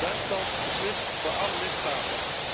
Duitsland beslist voor alle lidstaten.